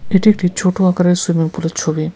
এটি একটি ছোট আকারের সুইমিংপুলের ছবি।